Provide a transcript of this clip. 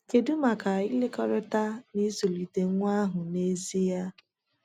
Kedu maka ịkekọrịta nịzụlite nwa ahụ nezie?